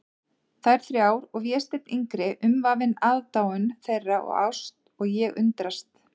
Þær þrjár og Vésteinn yngri umvafinn aðdáun þeirra og ást, og ég undrast.